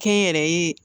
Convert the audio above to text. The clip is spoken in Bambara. Kɛnyɛrɛye